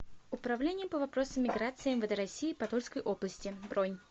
управление по вопросам миграции мвд россии по тульской области бронь